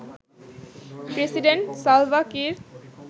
president Salva Kiir